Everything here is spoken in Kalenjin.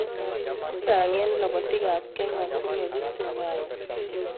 Che chang eng lobotii ab Kenya kobunuu Rift Valley.